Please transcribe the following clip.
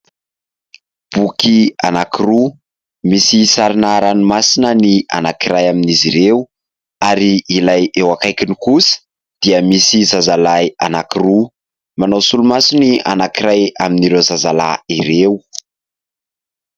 Boky anankiroa, misy sarina ranomasina ny anankiray amin'izy ireo ary ilay eo akaikiny kosa dia misy zazalahy anankiroa. Manao solomaso ny anankiray amin'ireo zazalahy ireo.